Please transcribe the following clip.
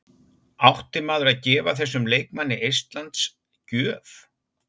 Átti maður að gefa þessum leikmanni eistlands gjöf?